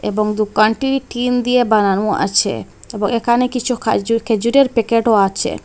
এবং দোকানটি টিন দিয়ে বানানো আছে এবং এখানে কিছু খাজু-খেজুরের প্যাকেটও আছে।